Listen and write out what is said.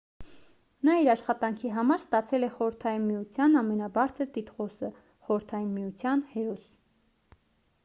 նա իր աշխատանքի համար ստացել է խորհրդային միության ամենաբարձր տիտղոսը խորհրդային միության հերոս